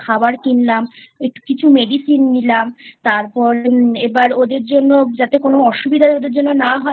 খাবার কিনলাম কিছু Medicine নিলাম তারপর এবার ওদের জন্য যাতে কোনো অসুবিধা না হয়